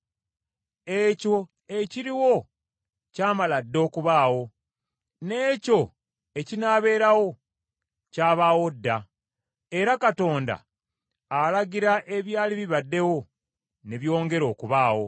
Ekyo ekiriwo ky’amala dda okubaawo; n’ekyo ekinaaberawo kyabaawo dda; era Katonda alagira ebyali bibaddewo, ne byongera okubaawo.